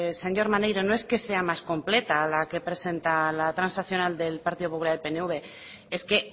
señor maneiro no es que sea más completa la que presenta la transaccional del partido popular y el pnv es que